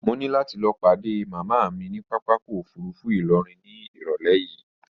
Mo ní láti lọ padé màmá mi ní papákọ̀ òfurufú ìlọrin ní irọ̀lẹ́ yìí